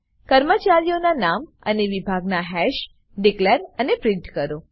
કર્મચારીઓના નામ અને વિભાગ ના હાશ ડીકલેર અને પ્રિન્ટ કરો